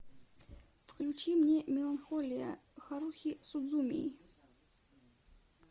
включи мне меланхолия харухи судзумии